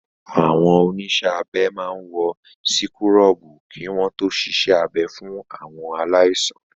Àwọn oníṣẹ́ abẹ máa wọ síkúrọ̀bù kí wọ́n to ṣiṣẹ́ abẹ fún àwọn aláìsàn.